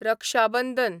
Raksha Bandhan